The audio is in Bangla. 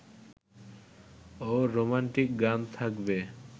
ও রোমান্টিক গান থাকবে